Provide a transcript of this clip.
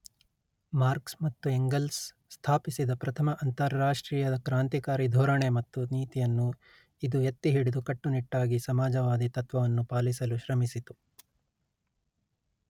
marks ಮತ್ತು Engels ಸ್ಥಾಪಿಸಿದ ಪ್ರಥಮ ಅಂತಾರಾಷ್ಟ್ರೀಯ ಕ್ರಾಂತಿಕಾರಿ ಧೋರಣೆ ಮತ್ತು ನೀತಿಯನ್ನು ಇದು ಎತ್ತಿಹಿಡಿದು ಕಟ್ಟುನಿಟ್ಟಾಗಿ ಸಮಾಜವಾದಿ ತತ್ವವನ್ನು ಪಾಲಿಸಲು ಶ್ರಮಿಸಿತು